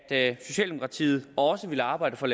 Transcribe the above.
at socialdemokratiet også ville arbejde for